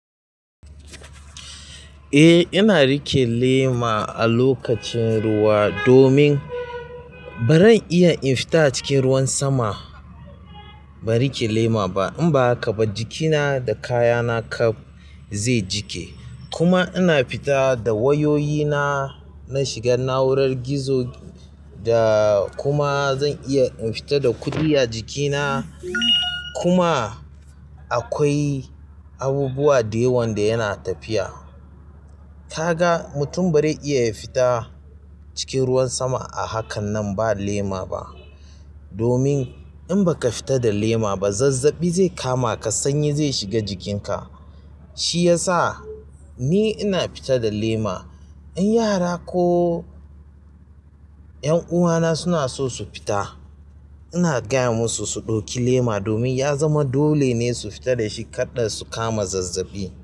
Eh, ina riƙe lema a lokacin ruwa domin ba zan iya in fita cikin ruwan sama ban riƙe lema ba. Inba haka ba jikina da kayana kaf zai jiƙe kuma ina fita da wayoyina, na shiga na urar gizo da kuma zan iya in fita da kuɗi a jikina. Kuma akwai abubuwa da yawan da yana tafiya ta ga mutum ba zai iya ya fita cikin ruwan sama a hakan nan ba lema ba. Domin in baka fita da lema ba zazzaɓi zai kama ka sanyi zai shiga jikinka. Shi ya sa ni ina fita da lema. In yara ko ƴan uwana suna so su fita ina gaya musu su ɗauki lema domin ya zama dole ne su fita da shi karda su kama zazzaɓi.